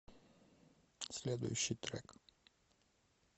следующий трек